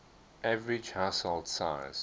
average household size